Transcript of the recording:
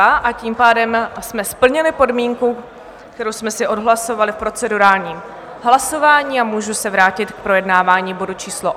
A tím pádem jsme splnili podmínku, kterou jsme si odhlasovali v procedurálním hlasování, a můžu se vrátit k projednávání bodu číslo